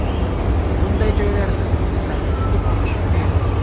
Bunday joylarda itlarni tutib olish qiyin.